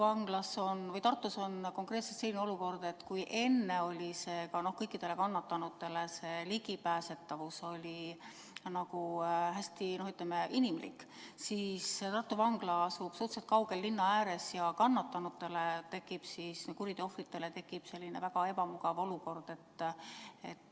Aga Tartus on konkreetselt selline olukord, et kui seni oli kannatanutele see ligipääsetavus nagu hästi inimlik, siis Tartu Vangla asub suhteliselt kaugel linna ääres ja kannatanutele, kuriteo ohvritele tekib väga ebamugav olukord.